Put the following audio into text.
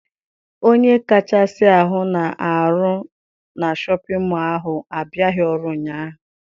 Onye kashịa ahụ na-arụ na Shọpịn mọọ ahụ abịaghị ọrụ ụnyaahụ.